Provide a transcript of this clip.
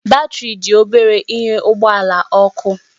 Batrị dị obere ịnye ụgbọ ala ọkụ